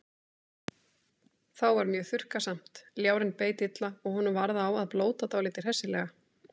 Þá var mjög þurrkasamt, ljárinn beit illa og honum varð á að blóta dálítið hressilega.